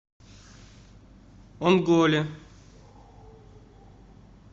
онголе